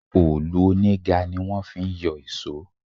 Òòlù oníga ní wọ́n fi ń yọ ìṣọ́.